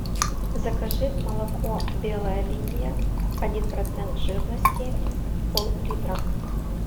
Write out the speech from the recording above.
закажи молоко белая линия один процент жирности пол литра